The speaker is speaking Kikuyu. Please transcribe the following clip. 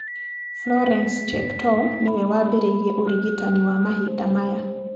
Florence Cheptoo nĩwe waambĩrĩirie ũrigitani wa mahinda maya.